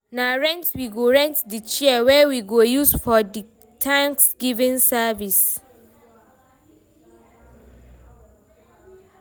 na rent we go rent the chairs wey we go use for di thanksgiving service